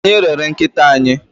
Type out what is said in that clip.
Anyị rere nkịta anyị.